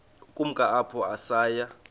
ukumka apho saya